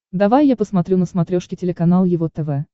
давай я посмотрю на смотрешке телеканал его тв